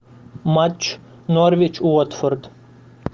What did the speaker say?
матч норвич уотфорд